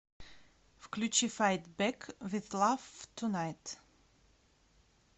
включи файт бэк виз лав тунайт